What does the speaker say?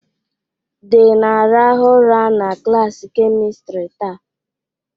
The na-arahụ ụra na klaasị kemistri taa.